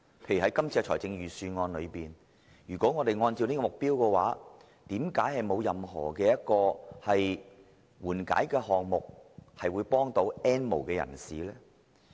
在今年的預算案中，如果按照這個目標，為何沒有任何緩解項目以幫助 "N 無人士"？